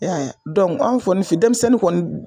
E y'a ye anw kɔni fɛ denmisɛnnin kɔni